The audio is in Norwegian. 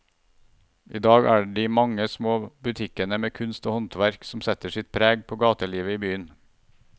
I dag er det de mange små butikkene med kunst og håndverk som setter sitt preg på gatelivet i byen.